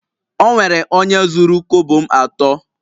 Onwere onye zuru kobo m ato